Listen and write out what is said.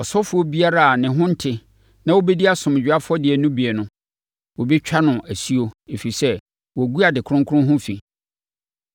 Ɔsɔfoɔ biara a ne ho nte na ɔbɛdi asomdwoeɛ afɔdeɛ no bi no, wɔbɛtwa no asuo, ɛfiri sɛ, wagu ade kronkron ho fi.